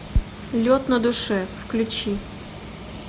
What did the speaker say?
лед на душе включи